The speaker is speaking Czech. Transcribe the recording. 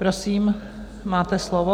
Prosím, máte slovo.